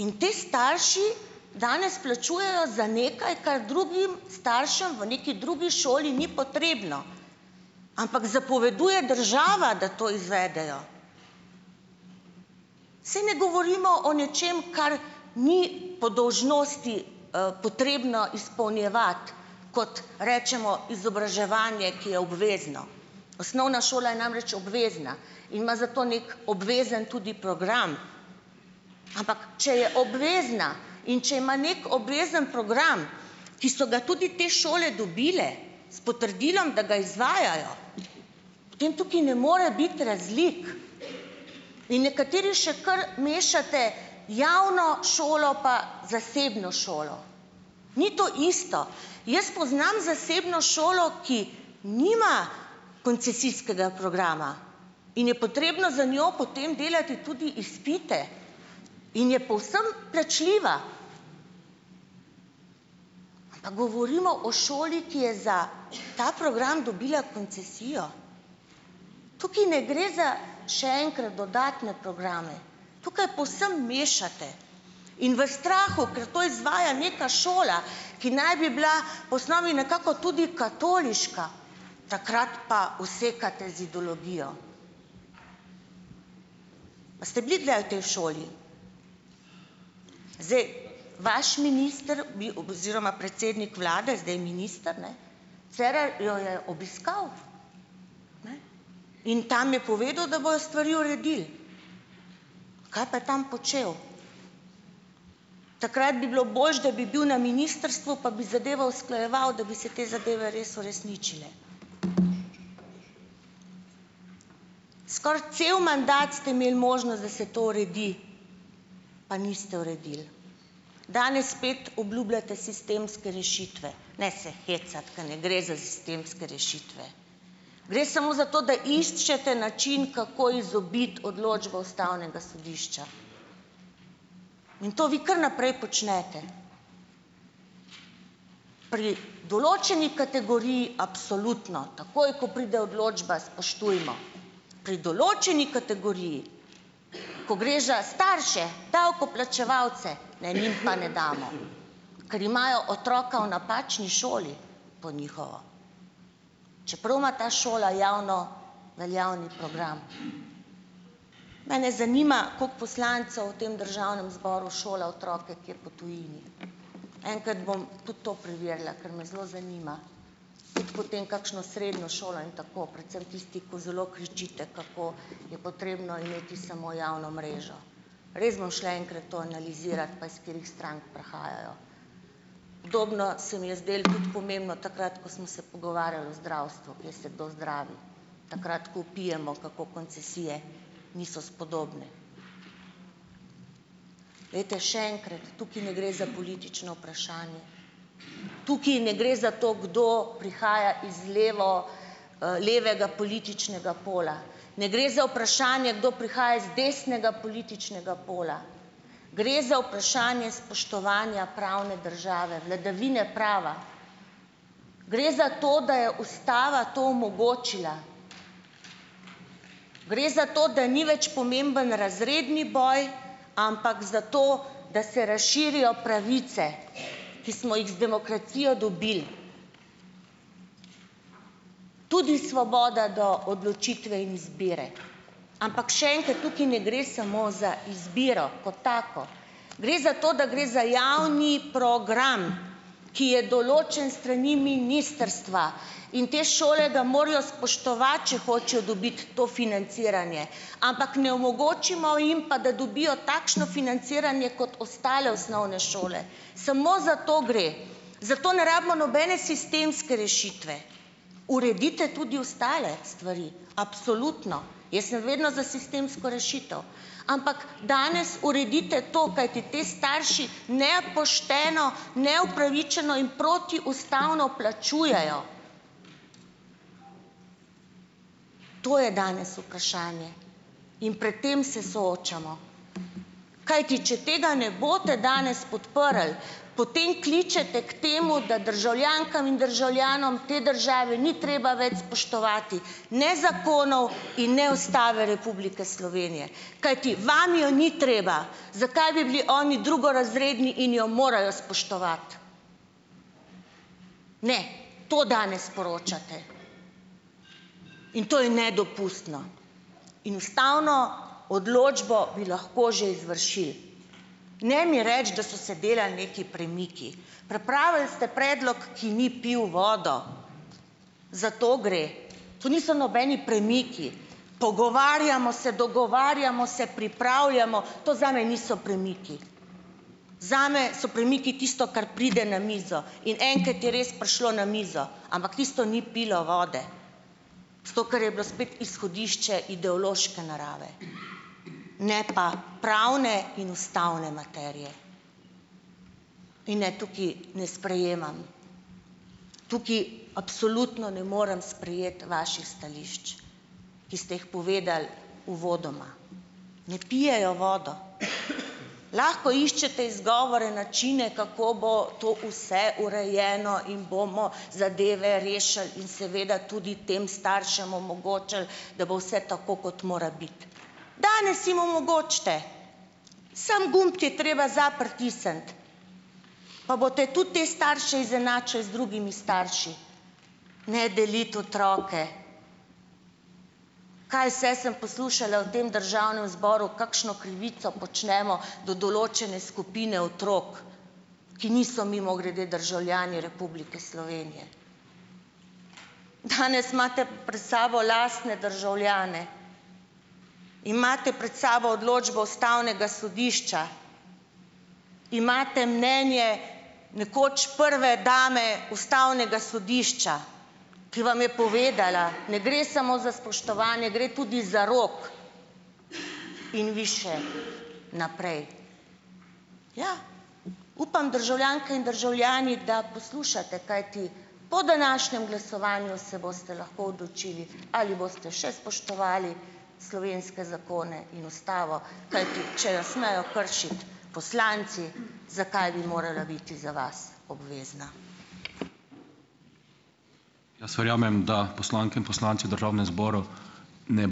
In ti starši danes plačujejo za nekaj, kar drugim staršem v neki drugi šoli ni potrebno, ampak zapoveduje država, da to izvedejo. Saj ne govorimo o nečem, kar ni po dolžnosti potrebno izpolnjevati, kot rečemo, izobraževanje, ki je obvezno. Osnovna šola je namreč obvezna in ima za to neki obvezen tudi program, ampak če je obvezna in če ima neki obvezen program, ki so ga tudi te šole dobile s potrdilom, da ga izvajajo, potem tukaj ne more biti razlik. In nekateri še kar mešate javno šolo pa zasebno šolo. Ni to isto. Jaz poznam zasebno šolo, ki nima koncesijskega programa, in je potrebno za njo potem delati tudi izpite in je povsem plačljiva. Pa govorimo o šoli, ki je za ta program dobila koncesijo. Tukaj ne gre za, še enkrat, dodatne programe, tukaj povsem mešate. In v strahu, ker to izvaja neka šola, ki naj bi bila po osnovi nekako tudi katoliška, takrat pa usekate z ideologijo. A ste bili kdaj v tej šoli? Zdaj, vaš minister bi, oziroma predsednik vlade, zdaj minister, ne, Cerar, jo je obiskal. Ne? In tam je povedal, da bojo stvari uredili. Kaj pa je tam počel? Takrat bi bilo boljše, da bi bil na ministrstvu, pa bi zadevo usklajeval, da bi se te zadeve res uresničile. Skoraj cel mandat ste imeli možnost, da se to uredi, pa niste uredili. Danes spet obljubljate sistemske rešitve. Ne se hecati, ker ne gre za sistemske rešitve. Gre samo za to, da iščete način, kako izobiti odločbo Ustavnega sodišča. In to vi kar naprej počnete. Pri določeni kategoriji absolutno. Takoj, ko pride odločba, spoštujmo. Pri določeni kategoriji, ko gre že starše, davkoplačevalce, ne, njim pa ne damo, ker imajo otroka v napačni šoli, po njihovo. Čeprav ima ta šola javno veljavni program. Mene zanima, kako poslancu v tem Državnem zboru šola otroke kje po tujini. Enkrat bom tudi to preverila, kar me zelo zanima. Tudi po tem, kakšno srednjo šolo in tako, predvsem tisti, ko zelo kričite, kako je potrebno imeti samo javno mrežo. Res bom šla enkrat to analizirat, pa iz katerih strank prihajajo. Podobno se mi je zdelo tudi pomembno takrat, ko smo se pogovarjali o zdravstvu, kjer se kdo zdravi. Takrat, ko vpijemo, kako koncesije niso spodobne. Glejte, še enkrat, tukaj ne gre za politično vprašanje. Tukaj ne gre za to, kdo prihaja iz levo, levega političnega pola. Ne gre za vprašanje, kdo prihaja iz desnega političnega pola. Gre za vprašanje spoštovanja pravne države - vladavine prava. Gre za to, da je Ustava to omogočila. Gre za to, da ni več pomemben razredni boj, ampak za to, da se razširijo pravice, ki smo jih z demokracijo dobili. Tudi svoboda do odločitve in izbire. Ampak še enkrat, tukaj ne gre samo za izbiro kot tako. Gre za to, da gre za javni program, ki je določen s strani ministrstva, in te šole ga morajo spoštovati, če hočejo dobiti to financiranje. Ampak ne omogočimo jim pa, da dobijo takšno financiranje kot ostale osnovne šole. Samo za to gre. Za to ne rabimo nobene sistemske rešitve. Uredite tudi ostale stvari, absolutno. Jaz sem vedno za sistemsko rešitev. Ampak danes uredite to, kajti ti starši nepošteno, neupravičeno in protiustavno plačujejo. To je danes vprašanje. In pred tem se soočamo. Kajti če tega ne boste danes podprli, potem kličete k temu, da državljankam in državljanom te države ni treba več spoštovati ne zakonov in ne Ustave Republike Slovenije, kajti vam jo ni treba. Zakaj bi bili oni drugorazredni in jo morajo spoštovati? Ne. To danes sporočate in to je nedopustno. In ustavno odločbo bi lahko že izvršili. Ne mi reči, da so se delali nekaj premiki. Pripravili ste predlog, ki ni pil vodo. Za to gre. To niso nobeni premiki. Pogovarjamo se, dogovarjamo se, pripravljamo - to zame niso premiki. Zame so premiki tisto, kar pride na mizo in enkrat je res prišlo na mizo, ampak tisto ni pilo vode, zato ker je bilo spet izhodišče ideološke narave, ne pa pravne in ustavne materije. In ne, tukaj ne sprejemam, tukaj absolutno ne morem sprejeti vaših stališč, ki ste jih povedali uvodoma. Ne pijejo vodo. Lahko iščete izgovore, načine, kako bo to vse urejeno in bomo zadeve rešili in seveda tudi tem staršem omogočili da bo vse tako, kot mora biti. Danes jim omogočite! Samo gumb je treba za pritisniti. Pa boste tudi te starše izenačili z drugimi starši. Ne deliti otroke. Kaj vse sem poslušala v tem Državnem zboru, kakšno krivico počnemo do določene skupine otrok. Ki niso, mimogrede, državljani Republike Slovenije. Danes imate pred sabo lastne državljane. Imate pred sabo odločbo Ustavnega sodišča. Imate mnenje nekoč prve dame Ustavnega sodišča. Ki vam je povedala - ne gre samo za spoštovanje, gre tudi za rok. In vi še naprej. Ja, upam, državljanke in državljani, da poslušate, kajti po današnjem glasovanju se boste lahko odločili, ali boste še spoštovali slovenske zakone in Ustavo. Kajti če jo smejo kršiti poslanci, zakaj bi morala biti za vas obvezna?